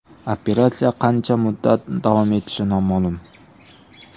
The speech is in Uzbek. Operatsiya qancha muddat davom etishi noma’lum.